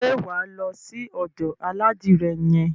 Ṣé wà á lọ sí ọ̀dò aládìrẹ yẹn?